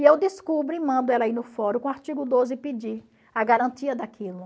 E eu descubro e mando ela ir no fórum com o artigo doze e pedir a garantia daquilo.